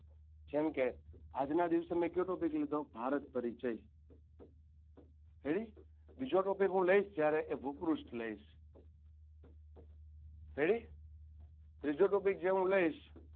જેમકે આજના દિવસે મે કયો topic લીધો ભારત પરિચ ready બીજો topic હું લઇશ જ્યારે એ હું ભૂપૃષ્ઠ લઇ ready ત્રીજો topic જે હું લઇશ.